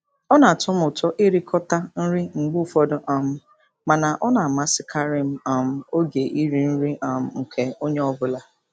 Ọ na-atọ m ụtọ ịrikọta nri mgbe ụfọdụ um mana ọ na-amasịkarị m um oge iri nri um nke onye ọ bụla.